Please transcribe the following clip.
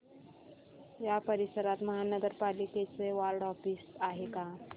या परिसरात महानगर पालिकेचं वॉर्ड ऑफिस आहे का